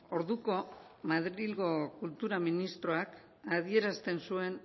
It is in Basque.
orduko madrilgo kultura ministroak adierazten zuen